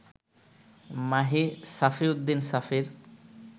Mahi Safiuddin সাফির